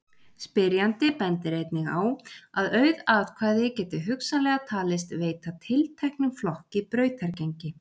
Spyrjandi bendir einnig á að auð atkvæði geti hugsanlega talist veita tilteknum flokki brautargengi.